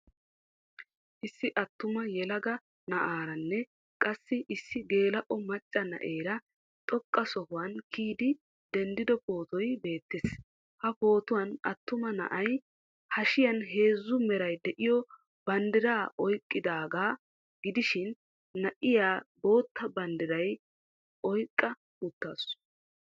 Issi attuma yelaga na'aaranne qassi issi geela'o macca na'eera xoqqa sohuwan kiyidi denddido pootoy beettees. Ha pootuwan attuma na'ay hashiya heezzu meray de'iyo banddiraa oyqqidaagaa gidishin na'iya bootta banddiraa oyqqa uttaasu.